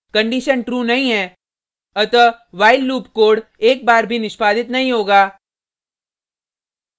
condition true नहीं है अतः while लूप कोड एक बार भी निष्पादित नहीं होगा